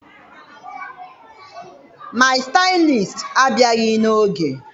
My Stylist abịaghị n'oge.